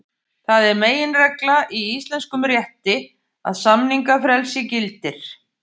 Það er meginregla í íslenskum rétti að samningafrelsi gildir.